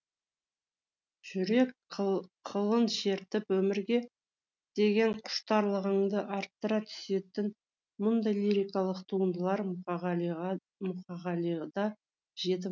жүрек қылын шертіп өмірге деген құштарлығыңды арттыра түсетін мұндай лирикалық туындылар мұқағалида жетіп